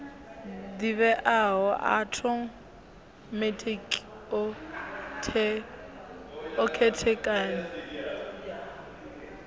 ḓivheaho a othomethikhi o khethekanywa